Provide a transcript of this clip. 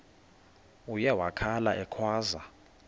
uye wakhala ekhwaza